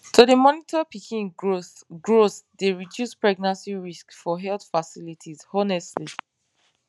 to dey monitor pikin growth growth dey reduce pregnancy risks for health facilities honestly